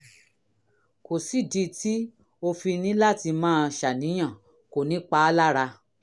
kò sídìí ltí o fi ní láti máa ṣàníyàn kò ní pa á lára